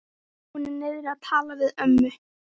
Hún er niðri að tala við ömmu.